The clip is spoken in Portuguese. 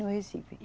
No Recife.